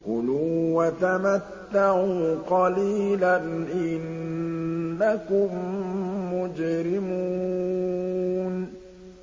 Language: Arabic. كُلُوا وَتَمَتَّعُوا قَلِيلًا إِنَّكُم مُّجْرِمُونَ